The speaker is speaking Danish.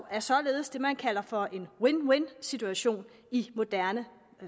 er således det man kalder for en win win situation i moderne